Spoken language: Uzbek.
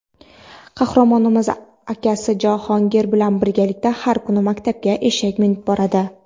Qahramonimiz akasi Javohir bilan birga har kuni maktabga eshak minib boradi.